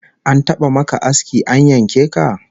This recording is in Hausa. An taba maka aski an yanke ka?